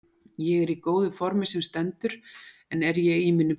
Ég er í góðu formi sem stendur en er ég í mínu besta?